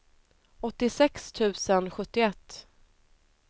åttiosex tusen sjuttioett